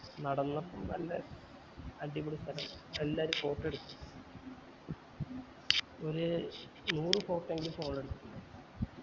നടന്നപ്പോ ല്ലേ അടിപൊളി സ്ഥലം എല്ലാരും photo എടുത്തു ഒര് നൂറ് photo എങ്കിലു phone ല് എടുത്തു